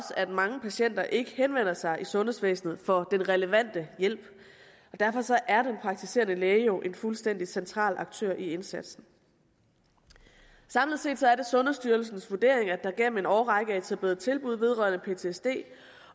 at mange patienter ikke henvender sig i sundhedsvæsenet for den relevante hjælp derfor er den praktiserende læge jo en fuldstændig central aktør i indsatsen samlet set er det sundhedsstyrelsens vurdering at der igennem en årrække er etableret tilbud vedrørende ptsd